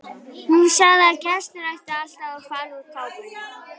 Hún sagði að gestir ættu alltaf að fara úr kápunni.